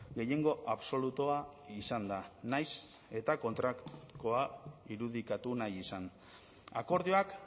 gehiengo absolutua izanda nahiz eta kontrakoa irudikatu nahi izan akordioak